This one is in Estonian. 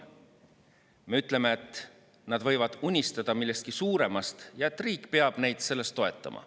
Me ütleme, et nad võivad unistada millestki suuremast ja et riik peab neid selles toetama.